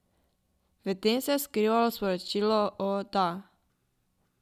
V tem se je skrivalo sporočilo, o, da.